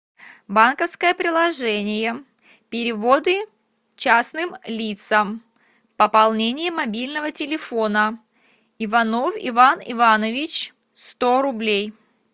банковское приложение переводы частным лицам пополнение мобильного телефона иванов иван иванович сто рублей